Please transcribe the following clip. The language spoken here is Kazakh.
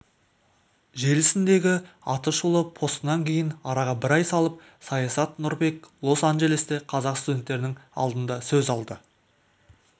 желісіндегі атышулы постынан кейін араға бір ай салып саясат нұрбек лос-анджелесте қазақ студенттерінің алдында сөз алды